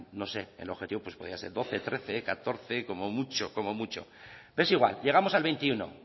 no sé el objetivo podría ser doce trece catorce como mucho como mucho pero es igual llegamos al veintiuno